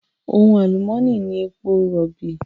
Ohun àlùmónì ni èpo rọ̀bì.